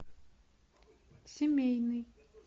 семейный